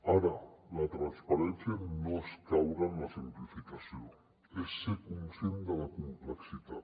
ara la transparència no és caure en la simplificació és ser conscient de la complexitat